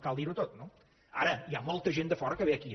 cal dir ho tot no ara hi ha molta gent de fora que ve aquí